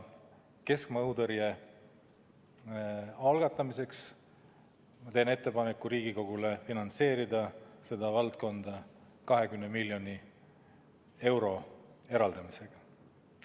Keskmaa õhutõrje arengu algatamiseks teen ettepaneku Riigikogule finantseerida seda valdkonda 20 miljoni euro eraldamisega.